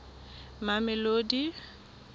mamelodi